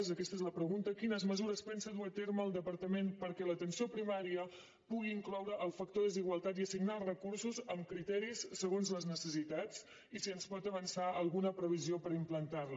aquesta és la pregunta quines mesures pensa dur a terme el departament perquè l’atenció primària pugui incloure el factor desigualtat i assignar els recursos amb criteris segons les necessitats i si ens pot avançar alguna previsió per implantar les